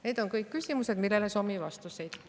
Need on kõik küsimused, millele soovime vastuseid.